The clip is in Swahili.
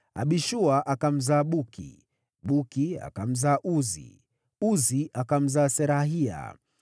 Abishua akamzaa Buki, Buki akamzaa Uzi, Uzi akamzaa Zerahia,